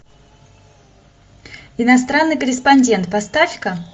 иностранный корреспондент поставь ка